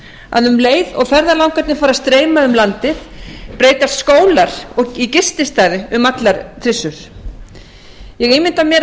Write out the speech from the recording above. að um leið og ferðalangarnir fara að streyma um landið breytast skólar í gististaði um allar trissur ég ímynda mér